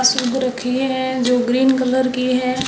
घास उग रखी है जो ग्रीन कलर की है।